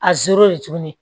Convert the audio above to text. A tuguni